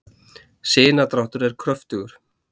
sinadráttur er kröftugur